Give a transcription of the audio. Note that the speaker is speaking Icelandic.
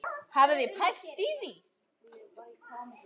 Hafið þið pælt í því?